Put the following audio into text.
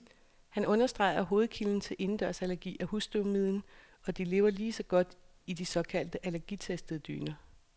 Han understreger, at hovedkilden til indendørsallergi er husstøvmiden, og de lever lige så godt i de såkaldt allergitestede dyner.